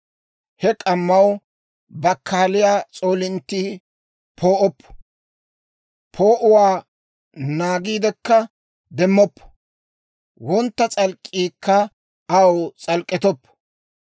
He k'ammaw bakkaaliyaa s'oolinttii poo'oppo; poo'uwaa naagiidekka demmoppo; wontta s'alk'k'iikka aw s'alk'k'ettoppo.